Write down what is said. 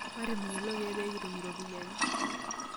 Matimirr kulo keek pee kitum iropiyiani.